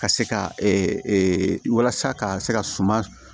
Ka se ka walasa ka se ka suma